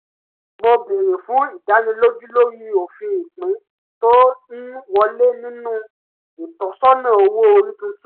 mo bèrè fún ìdánilójú lórí òfin ìpín tó ń wọlé nínú ìtọ́sọ̀nà owó orí tuntun